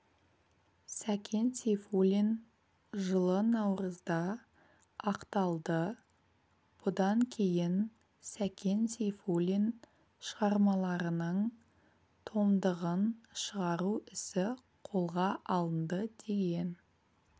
сәкен сейфуллин жылы наурызда ақталды бұдан кейін сәкен сейфуллин шығармаларының томдығын шығару ісі қолға алынды деген